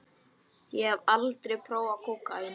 Ég hafði aldrei prófað kókaín.